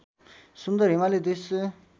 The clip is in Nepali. सुन्दर हिमाली दृश्य